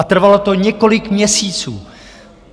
A trvalo to několik měsíců.